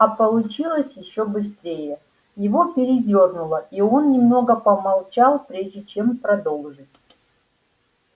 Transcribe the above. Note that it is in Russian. а получилось ещё быстрее его передёрнуло и он немного помолчал прежде чем продолжить